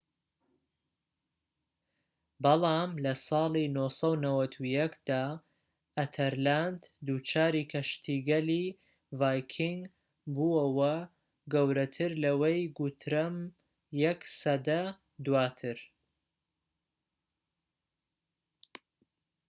بەڵام لەساڵی ٩٩١ دا ئەتەرلاند دووچاری کەشتیگەلی ڤایکینگ بووەوە گەورەتر لەوەی گوترەم یەك سەدە دواتر